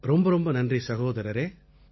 ரொம்ப ரொம்ப நன்றி சகோதரரே